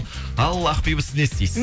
ал ақбибі сіз не істейсіз